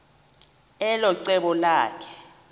elo cebo lakhe